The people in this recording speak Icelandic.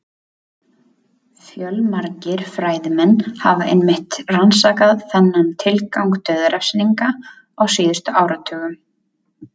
Fjölmargir fræðimenn hafa einmitt rannsakað þennan tilgang dauðarefsinga á síðustu áratugum.